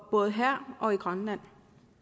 både her og i grønland